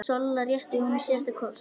Solla rétti honum síðasta kort.